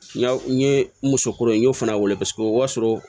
N ye musokuraw ye n y'o fana wele o b'a sɔrɔ